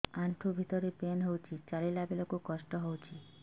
ଆଣ୍ଠୁ ଭିତରେ ପେନ୍ ହଉଚି ଚାଲିଲା ବେଳକୁ କଷ୍ଟ ହଉଚି